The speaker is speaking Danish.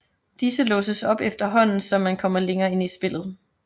Disse låses op efterhånden som man kommer længere ind i spillet